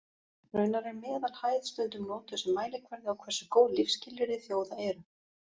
Raunar er meðalhæð stundum notuð sem mælikvarði á hversu góð lífsskilyrði þjóða eru.